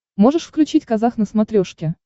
можешь включить казах на смотрешке